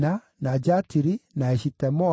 na Jatiri, na Eshitemoa,